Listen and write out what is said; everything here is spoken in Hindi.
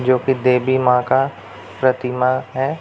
जो की देवी माँ का प्रतिमा है।